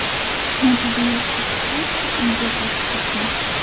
Natija yaxshi chiqqach, uyiga qaytib ketgan.